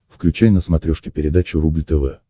включай на смотрешке передачу рубль тв